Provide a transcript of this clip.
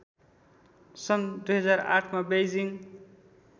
सन् २००८मा बेइजिङ